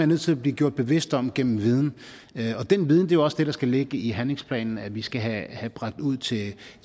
nødt til at blive gjort bevidst om gennem viden og den viden er jo også det der skal ligge i handlingsplanen og vi skal have bragt ud til